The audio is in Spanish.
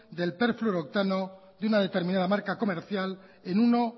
del perfluorooctano de una determinada marca comercial en uno